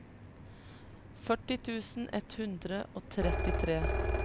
førti tusen ett hundre og trettitre